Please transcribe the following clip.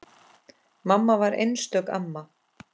Mamma var einstök amma.